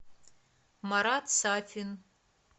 марат сафин